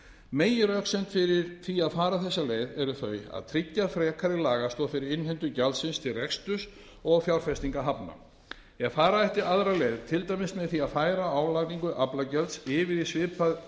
meginröksemd fyrir því að fara þessa leið eru þau að tryggja frekari lagastoð fyrir innheimtu gjaldsins til reksturs og fjárfestinga hafna ef fara ætti aðra leið til dæmis með því að færa álagningu aflagjalds yfir í